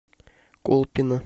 колпино